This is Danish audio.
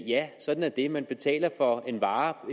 ja sådan er det man betaler for en vare på